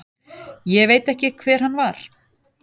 Ég veit ekki hver hann var.